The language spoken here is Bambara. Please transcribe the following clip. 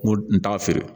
N ko n t'a feere